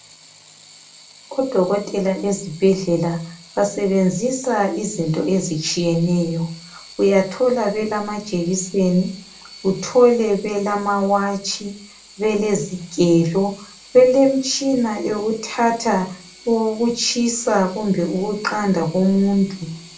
Odokotela ezibhedlela basebenzisa izinto ezitshiyeneyo. Uyathola belamajekiseni. Uthole belamawatshi, belezigelo, belemitshina yokuthatha ukutshisa kumbe ukuqanda komuntu.